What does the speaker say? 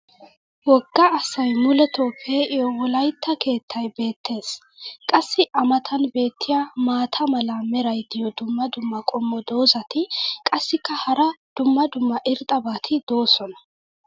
woga asay muletoo pee'iyo wolaytta keettay beetees. qassi a matan beetiya maata mala meray diyo dumma dumma qommo dozzati qassikka hara dumma dumma irxxabati doosona.